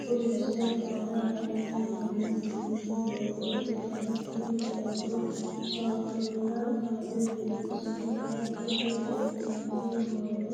Kuni misilete aana la'nanni noohu biiffino doogo ikkitanna, tini doogono shakila karre biifinsoonnite. hattono biifanno hoowe